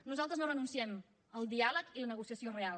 nosaltres no renunciem al diàleg ni a la negociació real